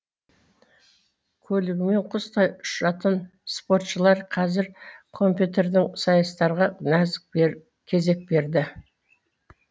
көлігімен құстай ұшатын спортшылар қазір компьютердің сайыстарға кезек берді